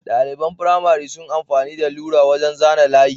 ɗaliban firamare sun amfani da lura wajan zana layi